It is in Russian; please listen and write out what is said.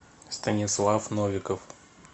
станислав новиков